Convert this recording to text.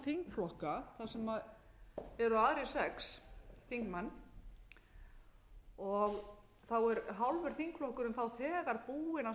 þingflokka þar sem eru aðrir sex þingmenn þar sem hálfur þingflokkurinn er þegar búinn að samþykkja